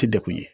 Ti degun ye